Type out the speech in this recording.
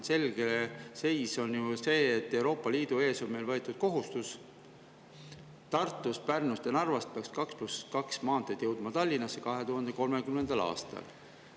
Selge seis on see, et Euroopa Liidu ees on meil võetud kohustus: 2030. aastal peaks Tartust, Pärnust ja Narvast viima Tallinnasse 2 + 2 maanteed.